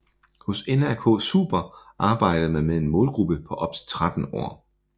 Hos NRK Super arbejder man med en målgruppe på op til 13 år